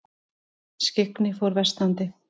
Skyggni fór versnandi.